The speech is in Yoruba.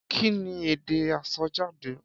Kí ni èdè àsọjáde?